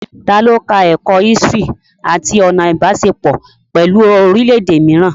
Ta ló ka ẹ̀kọ́ ísítìrì àti ọ̀nà Ìbáṣepọ̀ pẹ̀lú orílẹ̀ èdè mìíràn?